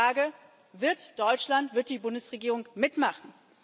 Ich frage Wird Deutschland, wird die Bundesregierung mitmachen?